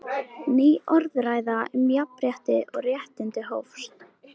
Ný orðræða um jafnrétti og réttindi hófst.